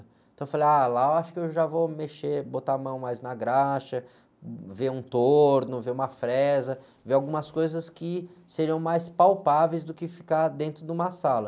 Então eu falei, ah, lá eu acho que eu já vou mexer, botar a mão mais na graxa, ver um torno, ver uma fresa, ver algumas coisas que seriam mais palpáveis do que ficar dentro de uma sala.